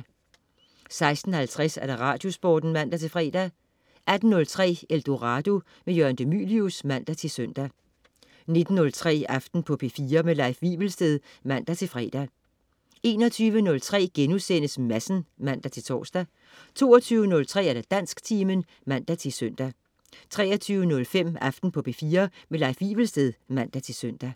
16.50 Radiosporten (man-fre) 18.03 Eldorado. Jørgen de Mylius (man-søn) 19.03 Aften på P4. Leif Wivelsted (man-fre) 21.03 Madsen* (man-tors) 22.03 Dansktimen (man-søn) 23.05 Aften på P4. Leif Wivelsted (man-søn)